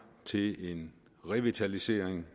til en revitalisering